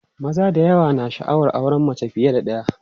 maza da yawa na sha'awar auran mace fiye da ɗaya